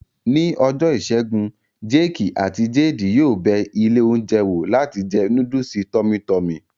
Ní ọjọ́ ìṣẹ́gun, jéèkì àti jeedi yóò bẹ ilé oúnjẹ wò láti jẹ núdùsì tọ́mí tọmì